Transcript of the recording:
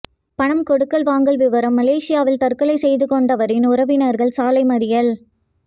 பணம் கொடுக்கல் வாங்கல் விவகாரம் மலேசியாவில் தற்கொலை செய்து கொண்டவரின் உறவினா்கள் சாலை மறியல்